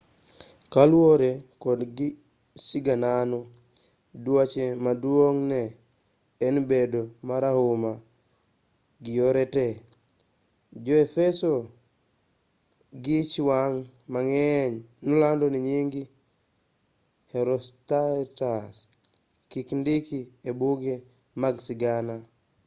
kaluwore kod siganano duache maduong' ne en bedo marahuma gi yore te jo-efeso gi ich wang' mang'eny nolando ni nying herostratus kik ndiki e buge mag sigana